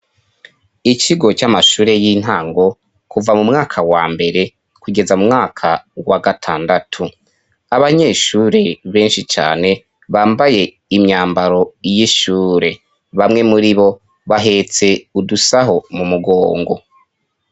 ikigo c'amashure y'intango kuva mu mwaka wa mbere kugeza mu mwaka wa gatandatu abanyeshure benshi cane bambaye imyambaro y'ishure bamwe muri bo bahetse udusaho mu mugongo.